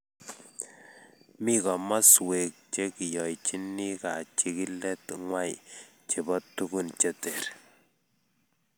Mi komoskwek che kiyoichini kachikilet ngwai chebo tukun che ter